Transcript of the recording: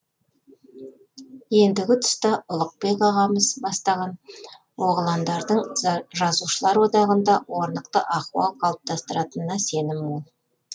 ендігі тұста ұлықбек ағамыз бастаған оғыландардың жазушылар одағында орнықты ахуал қалыптастыратынына сенім мол